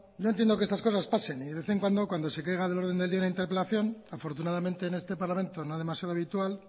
yo entiendo que estas cosas pasen y de vez en cuando cuando se caiga del orden del día una interpelación afortunadamente en este parlamento no demasiado habitual